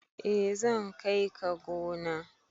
eh zan kai ka gona